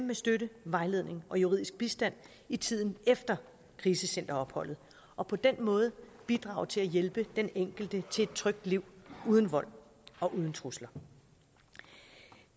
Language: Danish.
med støtte vejledning og juridisk bistand i tiden efter krisecenteropholdet og på den måde bidrage til at hjælpe den enkelte til et trygt liv uden vold og uden trusler